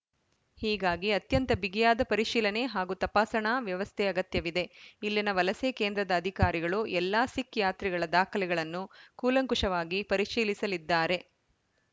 ಹೀಗಾಗಿ ಅತ್ಯಂತ ಬಿಗಿಯಾದ ಪರಿಶೀಲನೆ ಹಾಗೂ ತಪಾಸಣಾ ವ್ಯವಸ್ಥೆ ಅಗತ್ಯವಿದೆ ಇಲ್ಲಿನ ವಲಸೆ ಕೇಂದ್ರದ ಅಧಿಕಾರಿಗಳು ಎಲ್ಲ ಸಿಖ್‌ ಯಾತ್ರಿಗಳ ದಾಖಲೆಗಳನ್ನು ಕೂಲಂಕಷವಾಗಿ ಪರಿಶೀಲಿಸಲಿದ್ದಾರೆ